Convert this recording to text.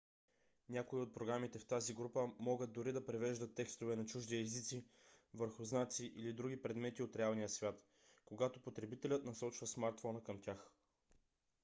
някои от програмите в тази група могат дори да превеждат текстове на чужди езици върху знаци или други предмети от реалния свят когато потребителят насочва смартфона към тях